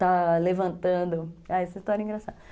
Está levantando... Ah, essa história é engraçada.